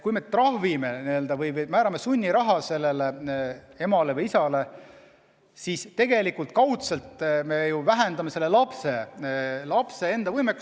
Kui me trahvime inimesi või määrame sunniraha emale või isale, siis me tegelikult kaudselt vähendame lapse heaolu.